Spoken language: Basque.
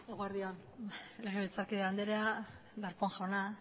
eguerdi on legebiltzarkide andrea darpón jauna